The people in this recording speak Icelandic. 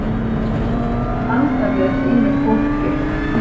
Standa með sínu fólki.